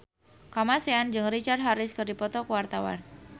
Kamasean jeung Richard Harris keur dipoto ku wartawan